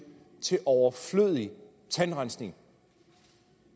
til overflødig tandrensning